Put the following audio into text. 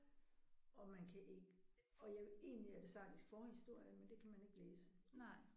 Og man kan ikke og jeg egentlig er det sardisk forhistorie men det kan man ikke læse